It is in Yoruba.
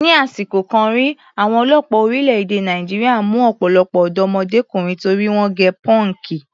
Ni àsìkò kan rí, àwọn ọlọ́pàá orílẹ̀-èdè Nàìjíríà mú ọ̀pọ̀lọpọ̀ ọ̀dọ́mọdékùnrin torí wọ́n gẹ pọ́ǹkì.